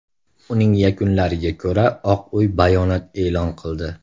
Uning yakunlariga ko‘ra Oq Uy bayonot e’lon qildi.